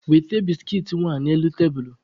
Weta biskit nwa n'elu tebulu!